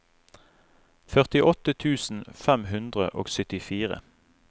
førtiåtte tusen fem hundre og syttifire